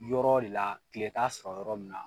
Yɔrɔ de la tile t'a sɔrɔ yɔrɔ min na